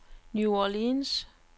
New Orleans